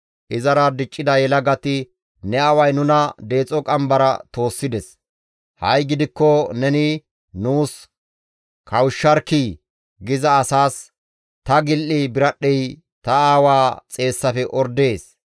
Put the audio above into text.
Izara diccida yelagati, « ‹Ne aaway nuna deexo qambara toossides; ha7i gidikko neni nuus kawushsharkkii› giza asaas, ‹Ta gil7i biradhdhey ta aawaa xeessafe ordees.